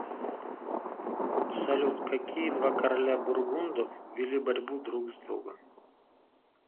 салют какие два короля бургундов вели борьбу друг с другом